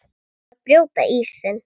Að brjóta ísinn